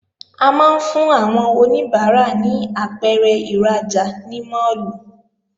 A máa ń fún àwọn oníbàárà ní apẹ̀rẹ̀ ìrajà ní máàlù